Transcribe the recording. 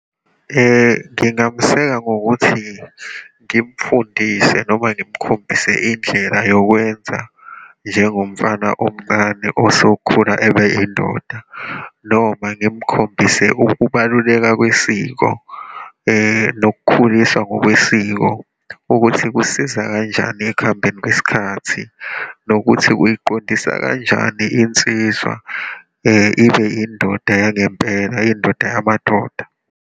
Ngingameseka ngokuthi ngimfundise, noma ngimkhombisa indlela yokwenza njengomfana omncane osokhula ebe indoda, noma ngimkhombisa ukubaluleka kwisiko, nokukhuliswa ngokwesiko ukuthi kusiza kanjani ekuhambeni kwesikhathi, nokuthi kuyiqondisa kanjani insizwa ibe indoda yangempela, indoda yamadoda.